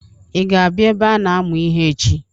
I ga abịa ebe a na-amụ ihe echi?